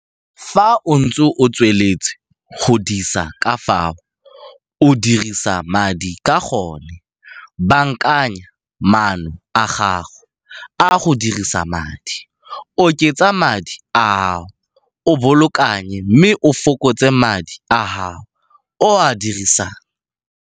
Fa o ntse o tsweletse go disa ka fao o dirisang madi ka gona, baakanya maano a gago a go dirisa madi, oketsa madi a o a bolokang mme o fokotse madi a o a dirisang.